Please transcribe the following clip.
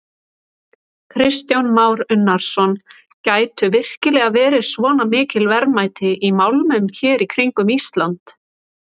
Kristján Már Unnarsson: Gætu virkilega verið svona mikil verðmæti í málmum hér í kringum Ísland?